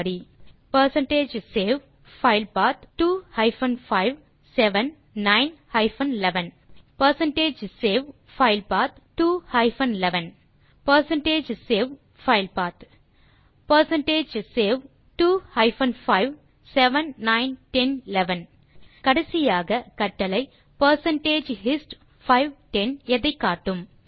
தேர்வுகள் percentage save file path 2 hyphen 5 7 9 hyphen 11 percentage save file path 2 hyphen 11 percentage save file path percentage save 2 hyphen 5 7 9 10 11 கடைசியாக கட்டளை percentage hist 5 10 எதைக்காட்டும்